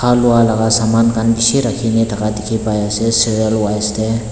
lwa laga saman khan bishi rakhigine thaka dikhi pai asey serial wise deh.